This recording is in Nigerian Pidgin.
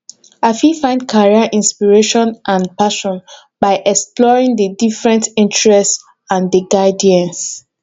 i fit find career inspiration and passion by exploring di different interests and di guidance